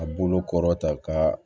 A bolo kɔrɔ ta ka